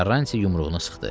Karanti yumruğunu sıxdı.